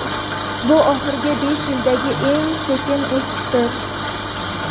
Bu oxirgi besh yildagi eng sekin o‘sishdir.